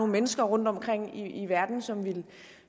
mennesker rundtomkring i verden som ville